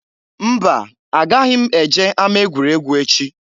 Mba! Agaghị m eje ama egwuregwu echi.